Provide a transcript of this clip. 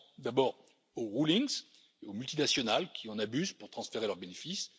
Je pense d'abord aux rulings, aux multinationales qui en abusent pour transférer leurs bénéfices.